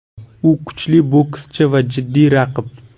U kuchli bokschi va jiddiy raqib.